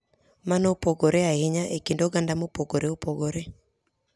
Mano opogore ahinya e kind oganda mopogore opogore.